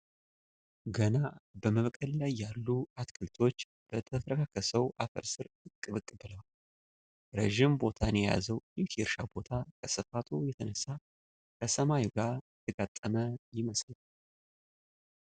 ገና በመብቀል ላይ ያሉ አትክልቶች በተፈረካከሰው አፈር ስር ብቅ ብቅ ብለዋል። ረጅም ቦታን የያዘው ይህ የእርሻ ቦታ ከስፋቱ የተነሳ ከሰማዩ ጋር የተጋጠመ ይመስላል።